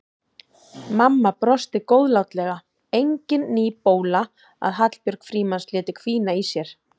Mamma brosti góðlátlega, engin ný bóla að Hallbjörg Frímanns léti hvína í sér.